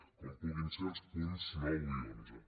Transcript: com puguin ser els punts nou i onze